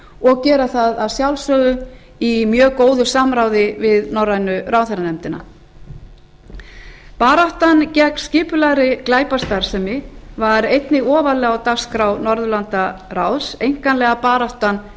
og gera það að sjálfsögðu í mjög góðu samráði við norrænu ráðherranefndina baráttan gegn skipulagðri glæpastarfsemi var einnig ofarlega á dagskrá norðurlandaráðs einkanlega baráttan